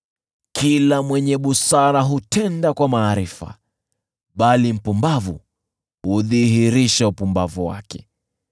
Kila mwenye busara hutenda kwa maarifa, bali mpumbavu hudhihirisha upumbavu wake.